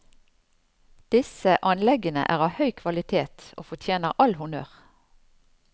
Disse anleggene er av høy kvalitet og fortjener all honnør.